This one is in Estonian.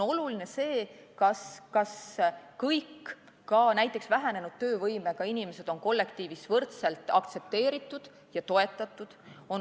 Oluline on see, kas kõik inimesed, ka näiteks vähenenud töövõimega inimesed, on kollektiivis võrdselt aktsepteeritud ja toetatud.